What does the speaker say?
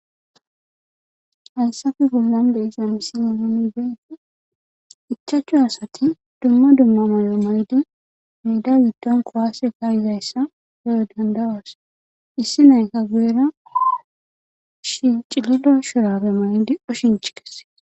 Hayssappe bollan de'iza missilen nuni be'ishin ichchachu asati duma duma mayo mayidi medda giddon kuwase ka'izayissa be'anaw dandayos issinoyikka guyera cililo shurabbe mayidi oshshinch kesess.